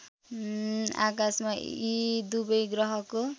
आकाशमा यी दुबै ग्रहको